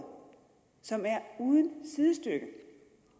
som er uden sidestykke